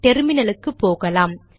டெர்மினலுக்கு போகலாம்